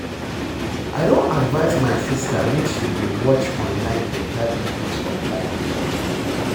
I don advice my sister make she dey watch online beta videos online